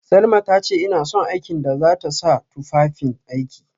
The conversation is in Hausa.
Salma tace ina son aikin da zata sa tufafin aiki